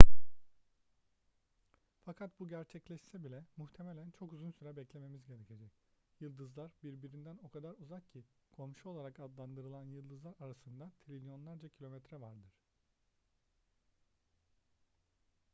fakat bu gerçekleşse bile muhtemelen çok uzun süre beklememiz gerekecek yıldızlar birbirinden o kadar uzak ki komşu olarak adlandırılan yıldızlar arasında trilyonlarca kilometre vardır